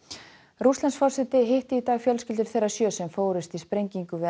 Rússlandsforseti hitti í dag fjölskyldur þeirra sjö sem fórust í sprengingu við